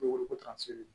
Koro kota ser